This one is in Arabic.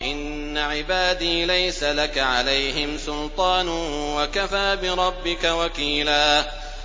إِنَّ عِبَادِي لَيْسَ لَكَ عَلَيْهِمْ سُلْطَانٌ ۚ وَكَفَىٰ بِرَبِّكَ وَكِيلًا